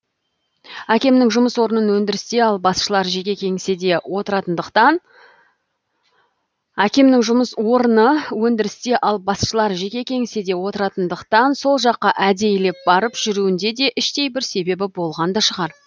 әкемнің жұмыс орыны өндірісте ал басшылар жеке кеңседе отыратындықтан сол жаққа әдейілеп барып жүруінде де іштей бір себебі болған да шығар